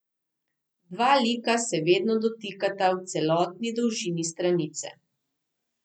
Dva lika se vedno dotikata v celotni dolžini stranice.